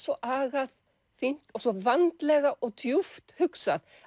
svo agað fínt og svo vandlega og djúpt hugsað